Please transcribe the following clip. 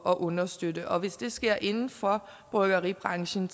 at understøtte og hvis det sker inden for bryggeribranchen